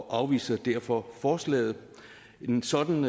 afviser derfor forslaget nej en sådan